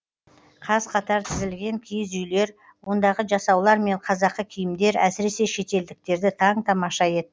қаз қатар тізілген киіз үйлер ондағы жасаулар мен қазақы киімдер әсіресе шетелдіктерді таң тамаша етті